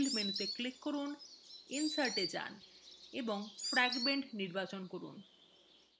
build মেনুতে click করুন insert এ navigate করুন এবং fragment নির্বাচন করুন